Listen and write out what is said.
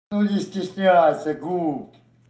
но не стесняйся губ